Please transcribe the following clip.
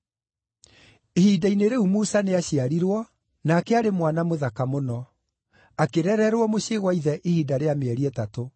“Ihinda-inĩ rĩu Musa nĩaciarirwo, nake aarĩ mwana mũthaka mũno. Akĩrererwo mũciĩ gwa ithe ihinda rĩa mĩeri ĩtatũ.